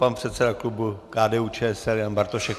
Pan předseda klubu KDU-ČSL Jan Bartošek.